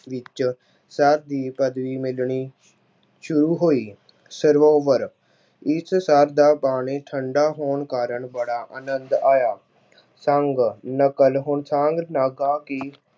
ਵਿੱਚ ਸਰ ਦੀ ਪਦਵੀ ਮਿਲਣੀ ਸ਼ੁਰੂ ਹੋਈ। ਸਰੋਵਰ- ਇਸ ਸਰ ਦਾ ਪਾਣੀ ਠੰਢਾ ਹੋਣ ਕਾਰਨ ਬੜਾ ਆਨੰਦ ਆਇਆ। ਸੰਗ- ਨਕਲ- ਹੁਣ ਸੰਗ ਲਗਾ ਕੇ